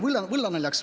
Võllanali võllanaljaks.